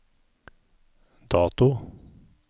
dato